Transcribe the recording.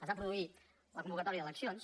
es va produir la convocatòria d’eleccions